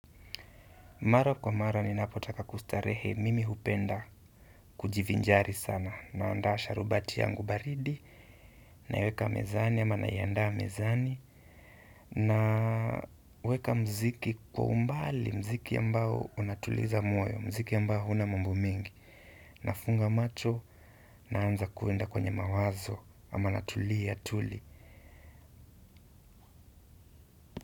Mara kwa marwa ninapotaka kustarehe mimi hupenda kujivinjari sana naanda sharubati yangu baridi naiweka mezani ama naianda mezani naweka mziki kwa umbali mziki ambao unatuliza moyo mziki ambao hauna mambo mingi nafunga macho naanza kuenda kwenye mawazo ama natulia tuli.